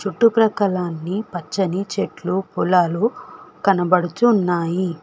చుట్టుపక్కల అన్ని పచ్చని చెట్లు పొలాలు కనబడుచున్నాయి.